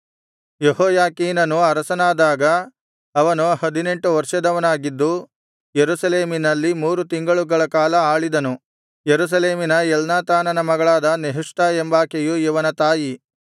ಯೆಹೋಯಾಖೀನನು ಅರಸನಾದಾಗ ಅವನು ಹದಿನೆಂಟು ವರ್ಷದವನಾಗಿದ್ದು ಯೆರೂಸಲೇಮಿನಲ್ಲಿ ಮೂರು ತಿಂಗಳುಗಳ ಕಾಲ ಆಳಿದನು ಯೆರೂಸಲೇಮಿನ ಎಲ್ನಾತಾನನ ಮಗಳಾದ ನೆಹುಷ್ಟಾ ಎಂಬಾಕೆಯು ಇವನ ತಾಯಿ